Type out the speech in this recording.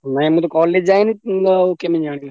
ନାଁ ମୁଁ ତ college ଯାଇନି କେମିତି ଜାଣିବି।